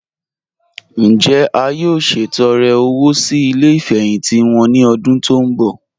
Njẹ́ à yóò ṣetọ̀rẹ̀ owó sí ilẹ̀ ìfẹhintì wọn ni ọ̀dún tó n bọ?